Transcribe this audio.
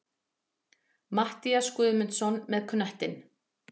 Matthías Guðmundsson með knöttinn.